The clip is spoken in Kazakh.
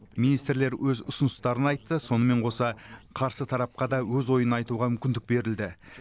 министрлер өз ұсыныстарын айтты сонымен қоса қарсы тарапқа да өз ойын айтуға мүмкіндік берілді